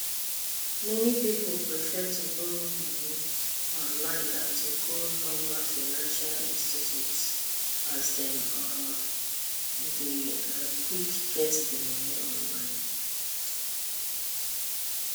many people prefer to borrow money online dan to go normal financial institutions as dem um deynquick get di money online